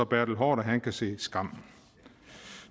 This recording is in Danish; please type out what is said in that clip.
bertel haarder kan kan se skam